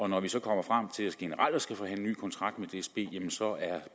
når vi så kommer frem til generelt at skulle forhandle ny kontrakt med dsb er